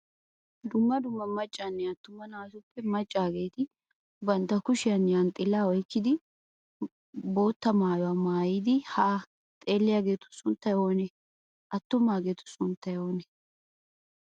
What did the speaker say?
Dumma dumma maccanne attuma naatuppe maccaageeti bantta kushiyan yanxxilaa oyikkidi bootta mayyuwa mayyidi haa xeelliyageetu sunttay oonee? Attumaageetu sunttay oonee?